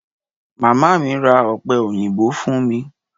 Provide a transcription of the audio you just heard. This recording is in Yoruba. Màmá mi ra ọ̀pẹ òyìnbó fún mi.